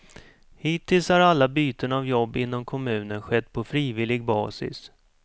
Hittills har alla byten av jobb inom kommunen skett på frivillig basis.